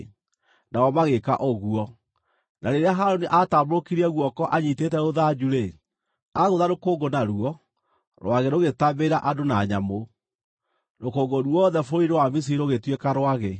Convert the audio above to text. Nao magĩĩka ũguo; na rĩrĩa Harũni aatambũrũkirie guoko anyiitĩte rũthanju-rĩ, agũtha rũkũngũ naguo, rwagĩ rũgĩtambĩrĩra andũ na nyamũ. Rũkũngũ ruothe bũrũri-inĩ wa Misiri rũgĩtuĩka rwagĩ.